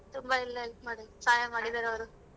ತುಂಬಾ ಎಲ್ಲಾ ಇದ್ ಮಾಡಿದ್ರು ಸಹಾಯ ಮಾಡಿದಾರೆ ಅವ್ರು.